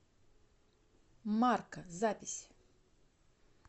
марка запись